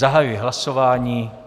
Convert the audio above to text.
Zahajuji hlasování.